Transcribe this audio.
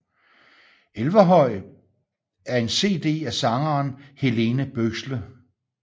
Elverhøy er en cd af sangeren Helene Bøksle